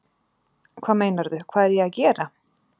Hvað meinarðu, hvað er ég að gera?